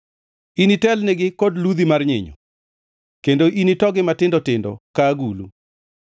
Initelnigi kod ludhi mar nyinyo; kendo initogi matindo tindo ka agulu.”